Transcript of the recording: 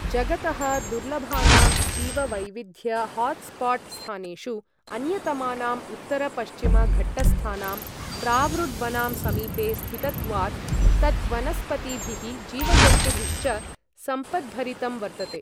जगतः दुर्लभानां जीववैविध्य हात्स्पाट् स्थानेषु अन्यतमानाम् उत्तर पश्चिम घट्टस्थानां प्रावृड्वनां समीपे स्थितत्वात् तत् वनस्पतिभिः, जीवजन्तुभिश्च सम्पद्भरितम् वर्तते।